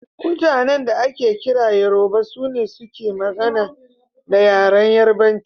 Mutanan da ake kira Yoruba, sune suke magana da yaren Yarubanci.